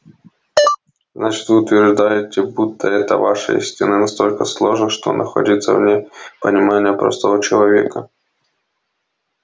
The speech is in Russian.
значит вы утверждаете будто эта ваша истина настолько сложна что находится вне понимания простого человека